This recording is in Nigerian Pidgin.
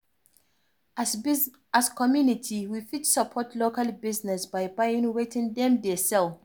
As community we fit support local business by buying wetin dem dey sell